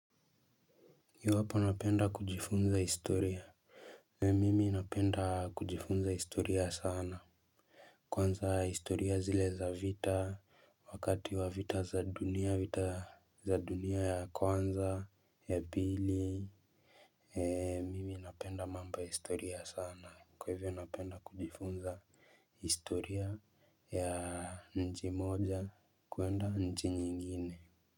Iwahapo napenda kujifunza historia. Mwimi mimi napenda kujifunza historia sana. Kwanza historia zile za vita, wakati wa vita za dunia, vita za dunia ya kwanza, ya bili. Mimi napenda mambo ya historia sana. Kwa hivyo napenda kujifunza historia ya nchi moja kuenda nchi nyingine.